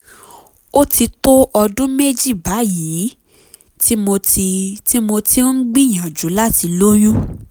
ó ti tó ọdún méjì báyìí tí mo ti tí mo ti ń gbìyànjú láti lóyún